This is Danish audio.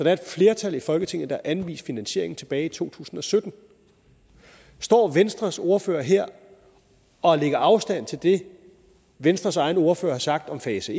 er et flertal i folketinget der har anvist finansiering tilbage i to tusind og sytten står venstres ordfører her og lægger afstand til det venstres egen ordfører har sagt om fase